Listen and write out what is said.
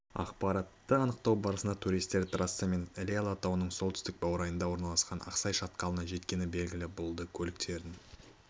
ақпаратты анықтау барысында туристер трассамен іле алатауының солтүстік баурайында орналасқан ақсай шатқалына жеткені белгілі болды көліктерін